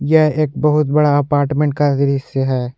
यह एक बहुत बड़ा अपार्टमेंट का दृश्य है।